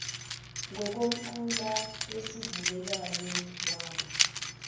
ngokomqulu wesivumelwano wama